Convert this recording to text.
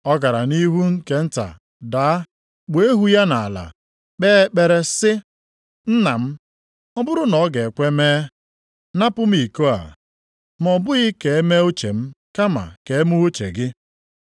Ọ gara nʼihu nke nta daa, kpuo ihu ya nʼala, kpee ekpere sị, “Nna m, ọ bụrụ na ọ ga-ekwe mee, napụ m iko a. Ma ọ bụghị ka e mee uche m, kama ka e mee uche gị.”